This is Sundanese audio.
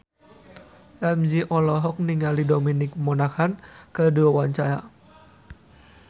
Ramzy olohok ningali Dominic Monaghan keur diwawancara